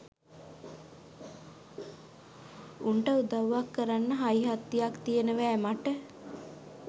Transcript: උන්ට උදව්වක් කරන්ඩ හයිහත්තියක් තියනවෑ මට